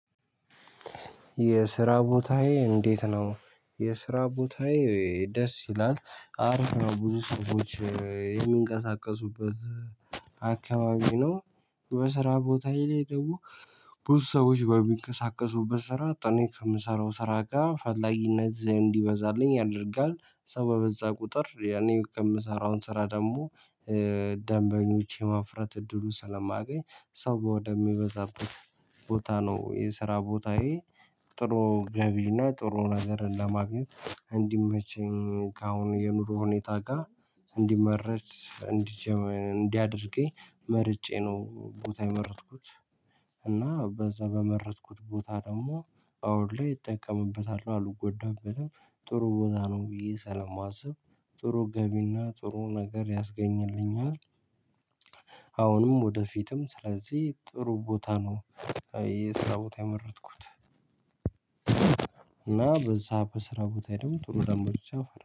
የስራ ቦታዬ እንዴት ነው? የስራ ቦታዬ ደስ ይላል አሪፍ ነው ብዙ ሰዎች የሚንቀሳቀሱበት አካባቢ ነው። በስራ ቦታዬ ላይ ደግሞ ብዙ ሰዎች በሚንቀሳቀሱበት ስራ እኔ ከምሰራው ስራ ጋር ፈላጊነት እንዲበዛልኝ ያደርጋል ሰው በበዛ ቁጥር ያኔ የምሰራውን ስራ ደግሞ። ደንበኞች የማፍራት እድሉን ስለማገኝ ሰው ወደ ሚበዛበት ቦታ ነው የስራ ቦታዬ። ጥሩ ገቢና ጥሩ ነገር ለማግኘት እንዲመቸኝ ከአሁን የኑሮ ሁኔታ ጋር እንዲመረጅ እንዲጀምር እንዲያደርገኝ መርጬ ነው ቦታ የመረጥኩት። እና በዛ በመረጥኩት ቦታ ደግሞ አሁን ላይ እጠቀምበታለው አልጎዳበትም። ጥሩ ቦታ ነው ብዬ ሰለማስብ ጥሩ ገቢና ጥሩ ነገር ያስገኝልኛል። አሁንም ወደፊትም ስለዚህ ጥሩ ቦታ ነው የስራ ቦታ የመረጥኩት። እና በዛ በስራ ቦታ ደግሞ ጥሩ ደንበኞች አፈር